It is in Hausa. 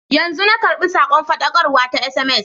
Yanzu na karɓi sakon faɗakarwa ta sms.